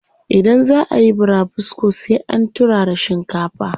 Idan zaa ayi burabusko sai an turara shinkafa.